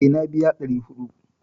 Eh, na biya 400